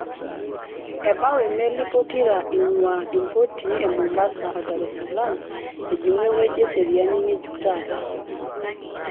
Ebau imelii pokira inguaa impotii e Mombasa o Dar-es-Salaam ejingu eweji eseriani ngejuk taata.